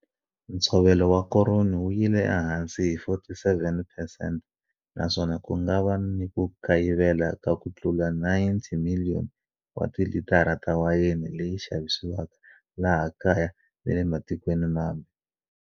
Ntshovelo wa koroni wu yile ehansi hi 47 phesente naswona ku nga va ni ku kayivela ka ku tlula 90 miliyoni wa tilitara ta wayeni leyi xavisiwaka laha kaya ni le matikweni mambe.